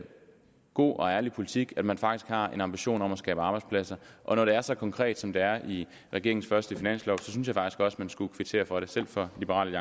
god og ærlig politik at man faktisk har en ambition om at skabe arbejdspladser og når det er så konkret som det er i regeringens første finanslov synes jeg faktisk også man skulle kvittere for det selv fra liberal